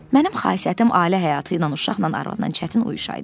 Mənim xasiyyətim ailə həyatı ilə, uşaqla, arvadla çətin uyuşaydı.